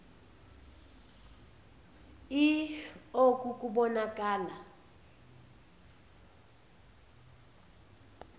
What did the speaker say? l oku kubonakala